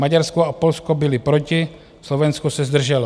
Maďarsko a Polsko byly proti, Slovensko se zdrželo.